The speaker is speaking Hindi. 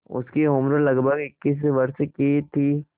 उसकी उम्र लगभग इक्कीस वर्ष की थी